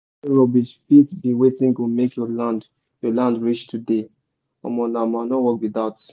yesterday rubbish fit be wetin go make your land your land rich today omo nah manure work be that.